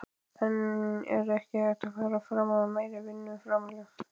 En er ekki hægt að fara fram á meira vinnuframlag?